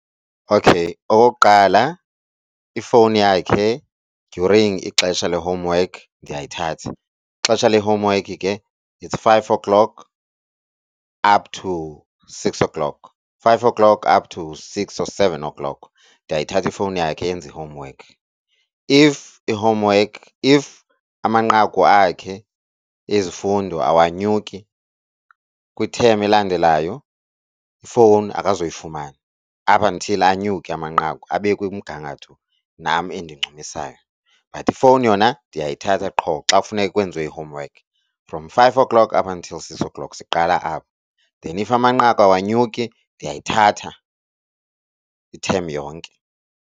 Okay okokuqala ifowuni yakhe during ixesha le-homework ndiyayithatha, ixesha le homework ke it's five o'clock up to six o'clock, five o'clock up to six or seven o'clock. Ndiyayithatha ifowuni yakhe enze i-homework. If i-homework if amanqaku akhe ezifundo awanyuki kwithemu elandelayo, ifowuni akazoyifumana up until anyuke amanqaku abe kumgangatho nam endincumisayo. But ifowuni yona ndiyayithatha qho xa kufuneka kwenziwe i-homework from five o'clock up until six o'clock siqala apho then if amanqaku awanyuki ndiyayithatha ithemu yonke.